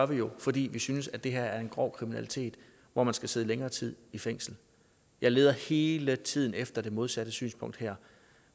vi jo fordi vi synes det her er grov kriminalitet hvor man skal sidde længere tid i fængsel jeg leder hele tiden efter det modsatte synspunkt her